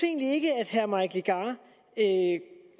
herre mike legarth